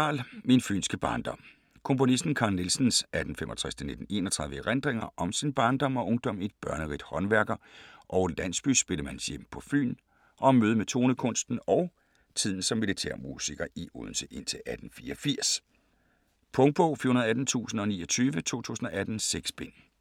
Nielsen, Carl: Min fynske barndom Komponisten Carl Nielsens (1865-1931) erindringer om sin barndom og ungdom i et børnerigt håndværker- og landsbyspillemandshjem på Fyn og om mødet med tonekunsten og tiden som militærmusiker i Odense indtil 1884. Punktbog 418029 2018. 6 bind.